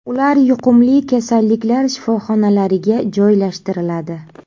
Ular yuqumli kasalliklar shifoxonalariga joylashtiriladi.